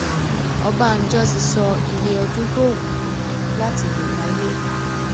ọbánjọ ti sọ iye ọdún tó wù ú láti lò láyé o